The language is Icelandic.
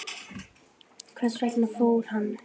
Hvers vegna fór hann?